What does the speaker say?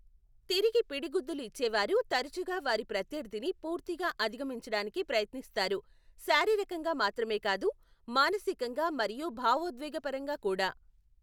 తిరిగి పిడిగుద్దులు ఇచ్చే వారు తరచుగా వారి ప్రత్యర్థిని పూర్తిగా అధిగమించడానికి ప్రయత్నిస్తారు, శారీరకంగా మాత్రమే కాదు, మానసికంగా మరియు భావోద్వేగపరంగా కూడా.